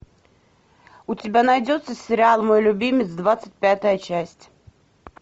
у тебя найдется сериал мой любимец двадцать пятая часть